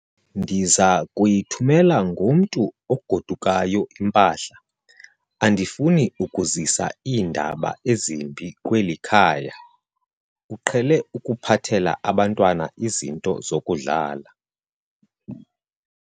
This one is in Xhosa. Ndiza kuyithumela ngomntu ogodukayo impahla. andifuni ukuzisa iindaba ezimbi kweli khaya, uqhele ukuphathela abantwana izinto zokudlala